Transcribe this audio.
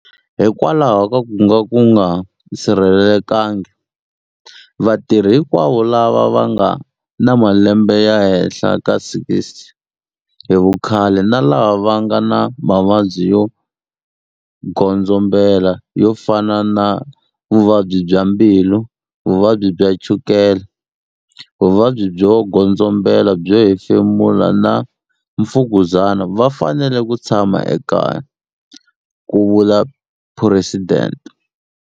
Hikokwalaho ka ku nga sirhelelekangi, vatirhi hikwavo lava va nga na malembe ya le henhla ka 60 hi vukhale na lava va nga na mavabyi yo godzombela yo fana na vuvabyi bya mbilu, vuvabyi bya chukela, vuvabyi byo godzombela byo hefemula na mfukuzana va fanele ku tshama ekaya, ku vula Phuresidente.